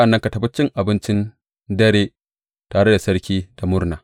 Sa’an nan ka tafi cin abincin dare tare da sarki da murna.